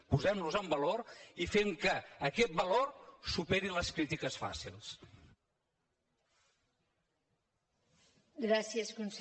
posem los en valor i fem que aquest valor superi les crítiques fàcils